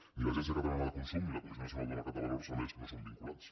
ni l’agència catalana de consum ni la comissió nacional del mercat de valors a més no són vinculants